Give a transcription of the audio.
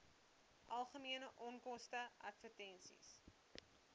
algemene onkoste advertensies